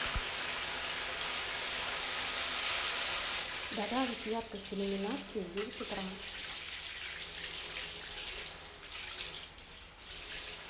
добавить яркость иллюминации в девять утра